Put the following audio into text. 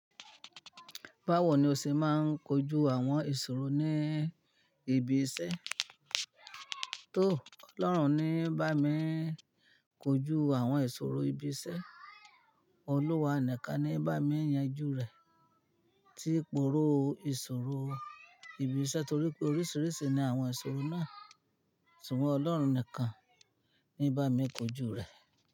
Báwo ni ó ṣe máa ń kojú àwọn ìṣòro ní ibi iṣẹ́? Tó Ọlọ́run ní bá mi kojú àwọn ìṣòro ibi iṣẹ́, Olúwa nìkan ni bá mi yanjú rẹ̀ tí ń pòró ìṣòro ibi iṣẹ́ torí pé oríṣìíríṣìí ni àwọn ìṣòro náà. Ṣùgbọ́n Ọlọ́run nìkan ni bá mi kojú rẹ̀.